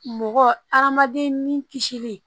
Mɔgɔ hadamaden ni kisili